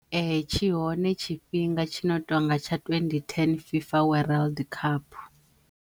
Ee tshi hone tshifhinga tshi no tonga tsha twenty ten FIFA World Cup.